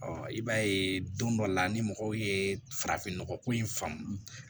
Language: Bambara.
i b'a ye don dɔ la ni mɔgɔw ye farafinnɔgɔ ko in faamu